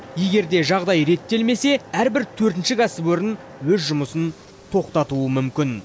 егер де жағдай реттелмесе әрбір төртінші кәсіпорын өз жұмысын тоқтатауы мүмкін